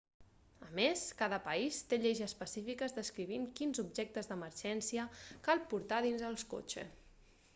a més cada país té lleis específiques descrivint quins objectes d'emergència cal portar dins el cotxe